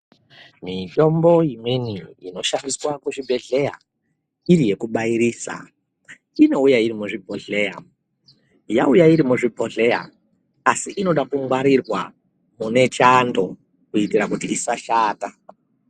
Mitombo imweni inoshandiswa kuzvibhehleya iri yekubairisa inouya irimuzvibhohleya ,yauya iri muzvibhohleya asi inoda kungwarirwa kune chando kuite kuti isashata.